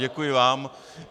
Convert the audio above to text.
Děkuji vám.